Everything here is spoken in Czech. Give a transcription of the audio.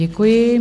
Děkuji.